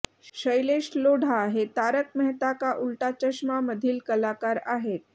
शैलेश लोढा हे तारक मेहता का उल्टा चष्मा मधील कलाकार आहेत